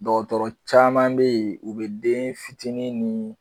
Dɔgɔtɔrɔ caman bɛ ye u bɛ den fitini ni